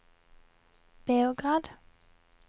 Beograd